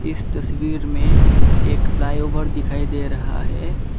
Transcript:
इस तस्वीर में एक फ्लाई ओवर दिखाई दे रहा है।